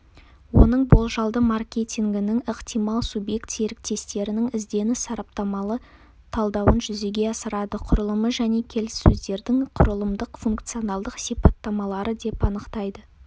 оның болжалды маркетингінің ықтимал субъект-серіктестерінің ізденіс-сараптамалы талдауын жүзеге асырады құрылымы және келіссөздердің құрылымдық-функционалдық сипаттамалары деп анықтайды